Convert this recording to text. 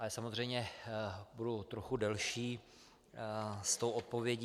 Ale samozřejmě budu trochu delší s tou odpovědí.